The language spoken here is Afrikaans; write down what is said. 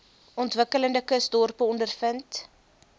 ontwikkelende kusdorpe ondervind